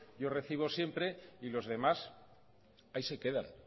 yo recibo siempre y los demás ahí se quedan